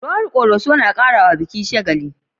Rawar ƙoroso na karawa biki shagali.